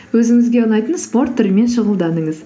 өзіңізге ұнайтын спорт түрімен шұғылданыңыз